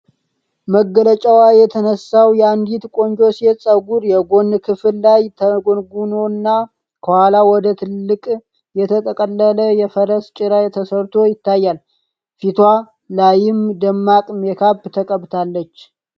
መገለጫው የተነሳው የአንዲት ቆንጆ ሴት ፀጉር፣ የጎን ክፍል ላይ ተጎንጉኖና ከኋላ ወደ ትልቅ የተጠቀጠቀ የፈረስ ጭራ ተሰርቶ ይታያል። ፊትዋ ላይም ደማቅ ሜካፕ ተቀብታለች።